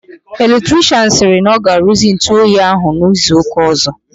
Electrichịanụ sịrị na ọ ga-aruzi ntụ oyi ahụ n'izu ụka ọzọ.